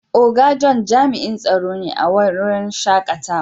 Oga John jami'in tsaro ne a waren shakatawa.